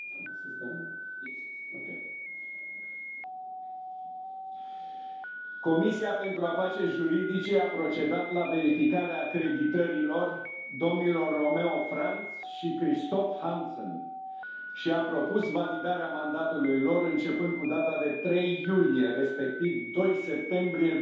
Am de făcut o comunicare Comisia pentru afaceri juridice a procedat la verificarea acreditărilor domnilor Romeo Franz și Christophe Hansen și a propus validarea mandatului lor începând cu data de 3 iulie, respectiv 2 septembrie